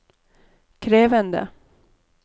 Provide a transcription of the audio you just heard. krevende